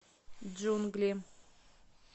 джунгли